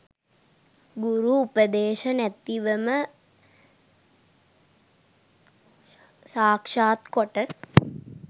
ගුරු උපදේශ නැතිවම සාක්‍ෂාත් කොට